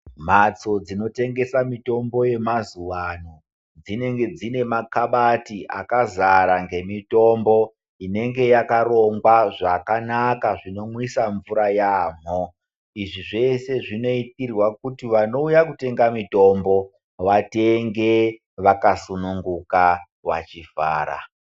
Mbatso dzinotengesa mitombo dzemazuva ano Dzinenge dzine makabati akazara nemitombo inenge yakarongwa zvakanaka zvinomwisa mvura yambo izvi zvese zvinoitirwa kuti vanouya kotenga mitombo vauye vatenge vakasununguka.